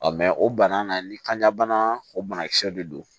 mɛ o bana na ni kanja bana o banakisɛw de don